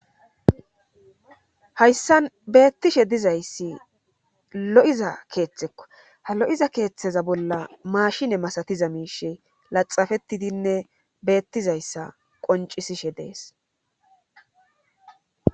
Hayssan beettishe dizayssi lo'iza keeththekko ha lo7iza keeththeza bolla mashine masatiza miishe laxafetidinne beettizayssa qoncisishe dees.